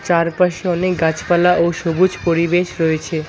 চারপাশে অনেক গাছপালা ও সবুজ পরিবেশ রয়েছে।